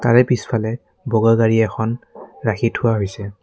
গাড়ী পিছফালে বগা গাড়ী এখন ৰাখি থোৱা হৈছে।